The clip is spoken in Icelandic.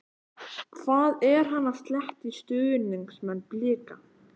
Hvað er hann að sletta í stuðningsmenn BLIKA?